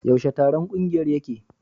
Yaushe taron kungiyar yake?